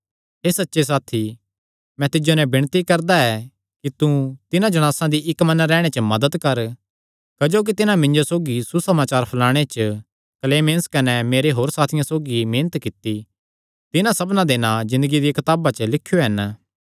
हे सच्चे साथी मैं तिज्जो नैं भी विणती करदा ऐ कि तू तिन्हां जणासां दी इक्क मन रैहणे च मदत कर क्जोकि तिन्हां मिन्जो सौगी सुसमाचार फैलाणे च क्लेमेंस कने मेरे होर साथियां सौगी मेहनत कित्ती तिन्हां सबना दे नां ज़िन्दगिया दिया कताबां च लिख्यो हन